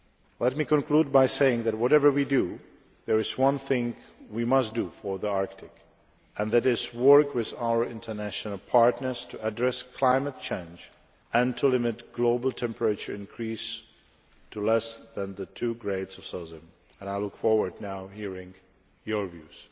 Let me conclude by saying that whatever we do, there is one thing we must do for the Arctic, and that is work with our international partners to address climate change and to limit global temperature increases to less than 2°C. I look forward now to hearing your views.